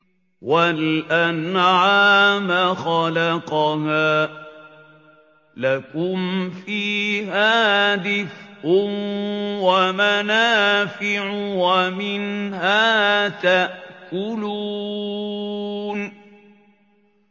وَالْأَنْعَامَ خَلَقَهَا ۗ لَكُمْ فِيهَا دِفْءٌ وَمَنَافِعُ وَمِنْهَا تَأْكُلُونَ